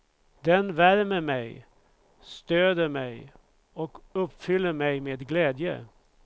Den värmer mig, stöder mig och uppfyller mig med glädje.